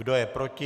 Kdo je proti?